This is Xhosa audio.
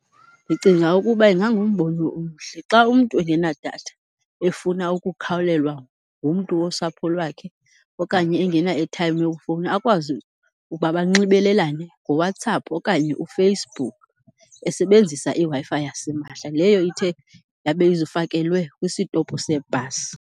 Ndicinga ukuba ingangumbono omhle, xa umntu engenadatha efuna ukukhawulelwa ngumntu wosapho lwakhe okanye engena-airtime yokufowuna akwazi uba banxibelelane ngoWhatsapp okanye uFacebook esebenzisa iWi-Fi yasimahla leyo ithe yabe ifakelwe kwisitopu sebhasi.